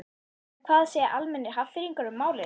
En hvað segja almennir Hafnfirðingar um málið?